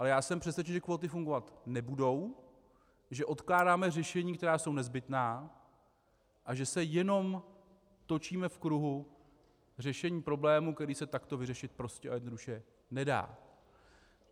Ale já jsem přesvědčen, že kvóty fungovat nebudou, že odkládáme řešení, která jsou nezbytná, a že se jenom točíme v kruhu řešení problému, který se takto vyřešit prostě a jednoduše nedá.